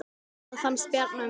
Hvað fannst Bjarna um dóminn?